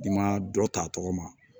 I ma dɔ ta tɔgɔ ma